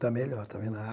Tá melhor, tá vendo? A